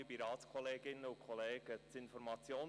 Gerber, Sie haben das Wort.